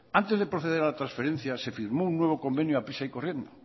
antes de proceder a la transferencia se firmó un nuevo convenio deprisa y corriendo